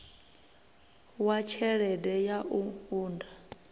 wa tshelede ya u unḓa